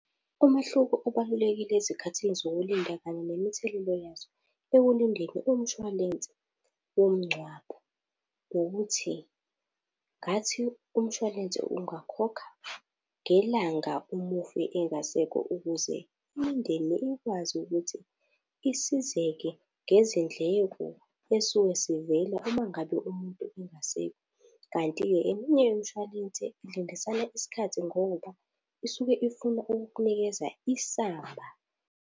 Umehluko ubalulekile ezikhathini zokulinda kanye nemithelela yazo. Ekulindeni umshwalense womngcwabo ukuthi ngathi umshwalense ungakhokha ngelanga umufi engasekho ukuze imindeni ikwazi ukuthi isizeke ngezindleko ezisuke zivela uma ngabe umuntu engasekho. Kanti-ke eminye imshwalense ilindisana isikhathi ngoba, isuke ifuna ukukunikeza isamba.